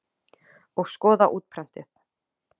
Og skoða útprentið.